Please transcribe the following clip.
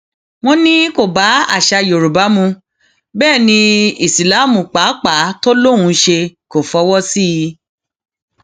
wọn ní kó bá àṣà yorùbá mu bẹẹ ní ìsíláàmù pàápàá tó lóun ń ṣe kó fọwọ sí i